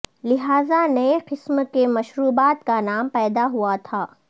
لہذا نئے قسم کے مشروبات کا نام پیدا ہوا تھا